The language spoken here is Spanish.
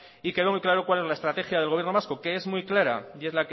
y quedó muy claro cuál es la estrategia del gobierno vasco que es muy clara y es